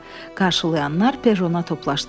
Qarşılayanlar perrona toplaşdılar.